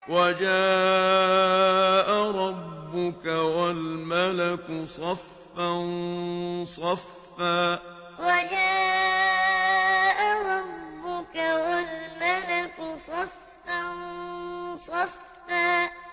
وَجَاءَ رَبُّكَ وَالْمَلَكُ صَفًّا صَفًّا وَجَاءَ رَبُّكَ وَالْمَلَكُ صَفًّا صَفًّا